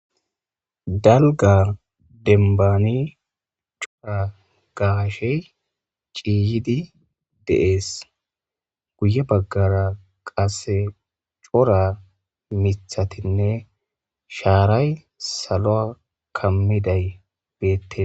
Dalgar denbani cora gaashey ciiyidi deees guye baggara qasse cora mithatinne shaaray saloa kammiday beettes.